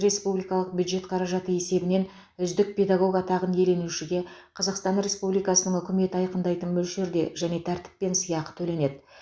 республикалық бюджет қаражаты есебінен үздік педагог атағын иеленушіге қазақстан республикасының үкіметі айқындайтын мөлшерде және тәртіппен сыйақы төленеді